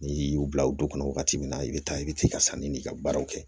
N'i y'u bila u du kɔnɔ wagati min na i bɛ taa i bɛ se ka sanni n'i ka baaraw kɛ